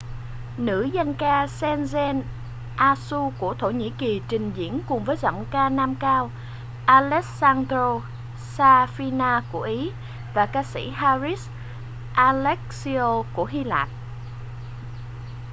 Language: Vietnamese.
nữ danh ca sezen aksu của thổ nhĩ kỳ trình diễn cùng với ca sĩ giọng nam cao alessandro safina của ý và ca sĩ haris alexiou của hy lạp